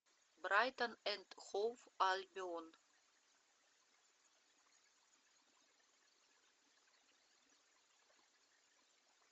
брайтон энд хоув альбион